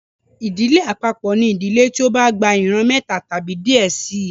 Ìdílé àpapọ ní ìdílé tí o bà gbà ìran méta tàbí díẹ síi